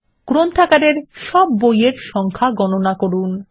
গ্রন্থাগারে সব বইয়ের সংখ্যা গণনা করুন